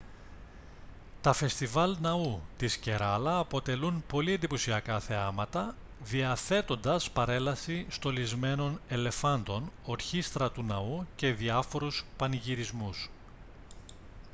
τα φεστιβάλ ναού της κεράλα αποτελούν πολύ εντυπωσιακά θεάματα διαθέτοντας παρέλαση στολισμένων ελεφάντων ορχήστρα του ναού και διάφορoυς πανηγυρισμούς